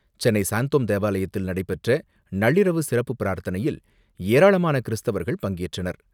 சென்னை சாந்தோம் தேவாலயத்தில் நடைபெற்ற நள்ளிரவு சிறப்பு பிரார்த்தனையில் ஏராளமான கிறிஸ்தவர்கள் பங்கேற்றனர்.